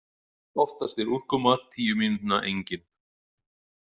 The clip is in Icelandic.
Oftast er úrkoma tíu mínútna engin.